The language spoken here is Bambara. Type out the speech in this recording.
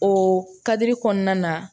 O kadiri kɔnɔna na